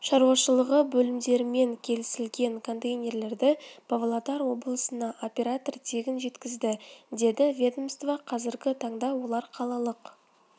шаруашылығы бөлімдерімен келісілген контейнерлерді павлодар облысына оператор тегін жеткізді деді ведомствода қазіргі таңда олар қалалық